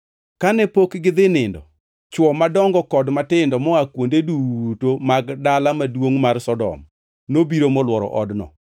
Kane pok gidhi e nindo, chwo madongo kod matindo moa kuonde duto mag dala maduongʼ mar Sodom, nobiro molworo odno.